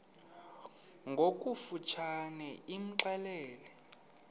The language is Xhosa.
ngokofu tshane imxelele